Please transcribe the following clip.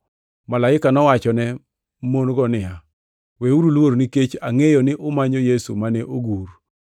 Malaika nowachone mon-go niya, “Weuru luor, nikech angʼeyo ni umanyo Yesu mane ogur.